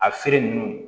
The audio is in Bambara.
A feere nunnu